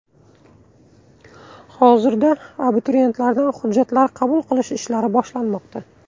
Hozirda abituriyentlardan hujjatlar qabul qilish ishlari boshlanmoqda.